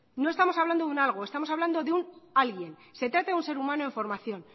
no estamos hablando de un algo estamos hablando de un alguien se trata de un ser humano en formación